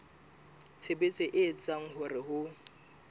tshebetso e etsang hore ho